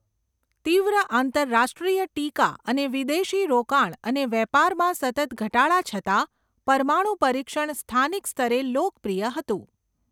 તીવ્ર આંતરરાષ્ટ્રીય ટીકા અને વિદેશી રોકાણ અને વેપારમાં સતત ઘટાડા છતાં, પરમાણુ પરીક્ષણ સ્થાનિક સ્તરે લોકપ્રિય હતું.